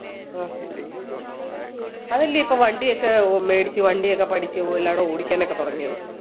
ആഹ് അതല്ലേ ഇപ്പോ വണ്ടി ഒക്കെ മേടിച്ച് വണ്ടിയൊക്കെ പഠിച്ച് എല്ലാവടെയും ഓടിക്കാൻ ഒക്കെ തുടങ്ങിയത്